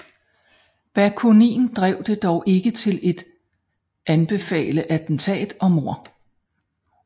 Bakunin drev det dog ikke til at anbefale attentat og mord